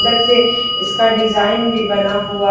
अंदर से इसका डिजाइन भी बना हुआ--